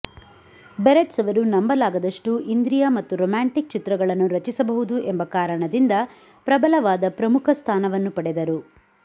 berets ಅವರು ನಂಬಲಾಗದಷ್ಟು ಇಂದ್ರಿಯ ಮತ್ತು ರೋಮ್ಯಾಂಟಿಕ್ ಚಿತ್ರಗಳನ್ನು ರಚಿಸಬಹುದು ಎಂಬ ಕಾರಣದಿಂದ ಪ್ರಬಲವಾದ ಪ್ರಮುಖ ಸ್ಥಾನವನ್ನು ಪಡೆದರು